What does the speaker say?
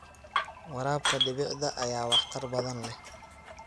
Waraabka dhibicda ayaa waxtar badan leh.